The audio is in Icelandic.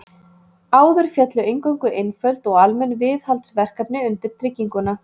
Áður féllu eingöngu einföld og almenn viðhaldsverkefni undir trygginguna.